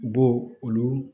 U b'o olu